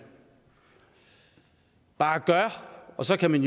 bare gør og så kan man